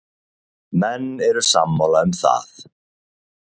Menn eru sammála um það.